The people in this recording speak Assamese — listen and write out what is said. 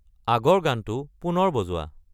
আগৰ গানটো পুনৰ বজোৱা